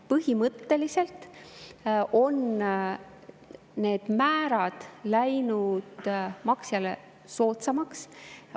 Põhimõtteliselt on need määrad läinud maksjale soodsamaks.